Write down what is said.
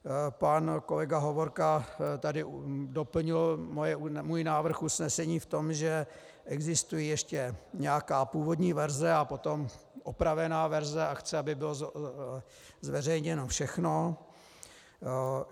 Pan kolega Hovorka tady doplnil můj návrh usnesení v tom, že existuje ještě nějaká původní verze a potom opravená verze, a chce, aby bylo zveřejněno všechno.